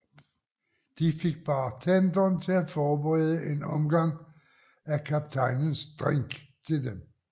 De fik bartenderen til at forberede en omgang af kaptajnens drink til dem